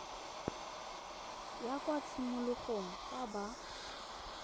ya kwa tshimologong fa ba